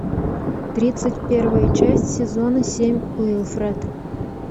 тридцать первая часть сезона семь уилфред